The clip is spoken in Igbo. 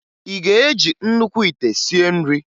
Ị ga-eji nnukwu ite sie nri?